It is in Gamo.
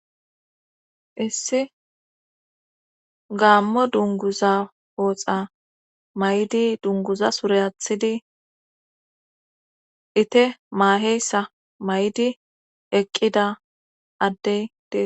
issi gaammo dunguza pooxa may7di dunguza sure athidi ite maaheyssa may7di eqqida addey dees